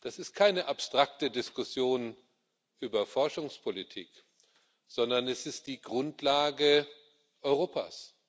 Das ist keine abstrakte Diskussion über Forschungspolitik, sondern es ist die Grundlage Europas.